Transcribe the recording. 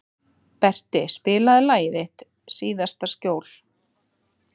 Berti, spilaðu lagið „Þitt síðasta skjól“.